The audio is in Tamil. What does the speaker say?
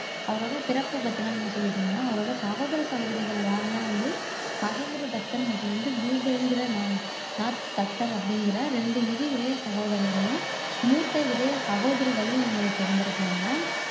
அவரோட பிறப்பு பத்தி எல்லாம் நீங்க சொல்லிட்டீங்க அவரோட சகோதர சகோதரிகள் யாருன்னா வந்து மஹேந்திர தத்தர் மற்றும் வந்து பூபேன்ந்திரநாத் நாத் தத்தர் அப்படிங்கற ரெண்டு இரு இளைய சகோதரர்களும் மூத்த இளைய சகோதரிகளும் இவங்களுக்கு இருந்திருக்காங்க